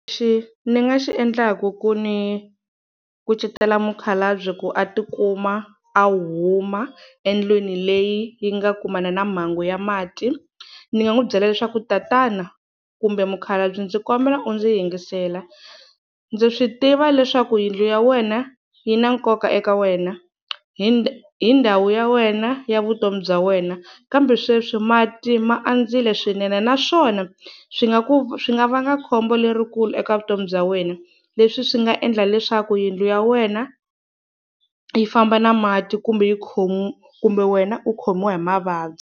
Lexi ni nga xi endlakua ku ni kucetela mukhalabye ku a ti kuma a huma endlwini leyi yi nga kumana na mhangu ya mati, ni nga n'wi byela leswaku tatana kumbe mukhalabye ndzi kombela u ndzi yingisela, ndza swi tiva leswaku yindlu ya wena yi na nkoka eka wena hi hi ndhawu ya wena ya vutomi bya wena, kambe sweswi mati ma andzile swinene naswona swi nga ku swi nga vanga khombo lerikulu eka vutomi bya wena, leswi swi nga endla leswaku yindlu ya wena yi famba na mati kumbe yi kumbe wena u khomiwa hi mavabyi.